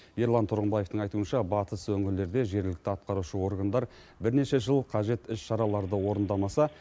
ерлан тұрғымбаевтың айтуынша батыс өңірлерде жергілікті атқарушы органдар бірнеше жыл қажет іс шараларды орындамаса